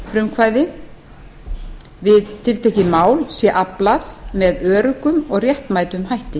þjóðarfrumkvæði við tiltekið mál sé aflað með öruggum og réttmætum hætti